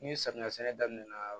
Ni samiya sɛnɛ daminɛna